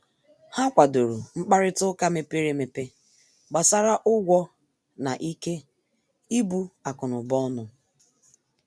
Ha kwàdòrò mkparịta ụka mepere emepe gbàsara ụgwọ na ikè ibu akụ̀nụba ọnụ.